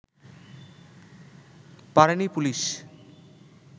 পারেনি পুলিশ